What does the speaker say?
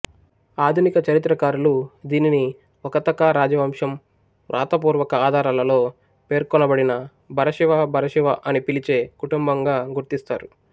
ఆధునిక చరిత్రకారులు దీనిని వకతకా రాజవంశం వ్రాతపూర్వక ఆధారాలలో పేర్కొనబడిన భరశివ భరసివ అని పిలిచే కుటుంబంగా గుర్తిస్తారు